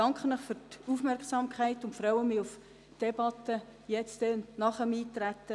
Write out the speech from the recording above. Ich danke Ihnen für Ihre Aufmerksamkeit und freue mich auf die Debatte nach dem Eintreten.